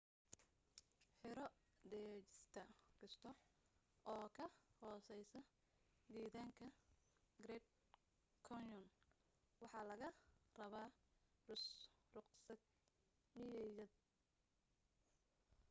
xero degista kasta oo ka hooseysa gedaanka grand canyon waxa laga rabaa ruqsad miyiyeed